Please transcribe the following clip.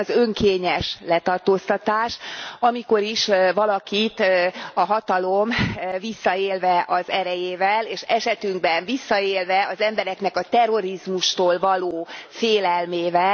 Ilyen az önkényes letartóztatás, amikor is valakit a hatalom visszaélve az erejével, és esetünkben visszaélve az embereknek a terrorizmustól való félelmével...